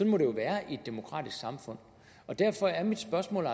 må det jo være i et demokratisk samfund derfor er mit spørgsmål